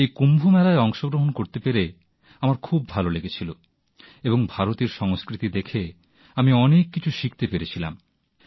এই কুম্ভ মেলায় অংশগ্রহণ করতে পেরে আমার খুব ভাল লেগেছিল এবং ভারতের সংস্কৃতি দেখে আমি অনেক কিছু শিখতে পেরেছিলাম